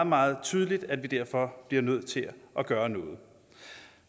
meget tydeligt at vi derfor bliver nødt til at gøre noget